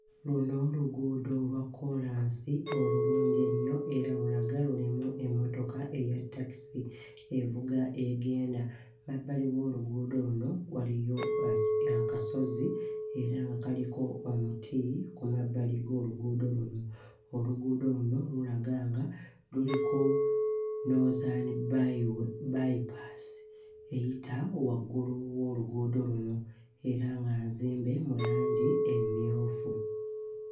Luno luguudo lwa kkoolansi olulungi ennyo era lulaga lulimu emmotoka eya takisi evuga egenda, mabbali g'oluguudo luno waliyo a, aki akasozi era nga kaliko omuti ku mabbali g'oluguudo luno, oluguudo luno lulaga nga luliko noozani bayi way, bayipaasi eyita waggulu w'oluguudo luno era nga nzimbe ne langi emmyufu.